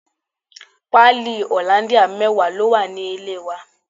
Pali hollandia mẹwa ló wà nílé wa.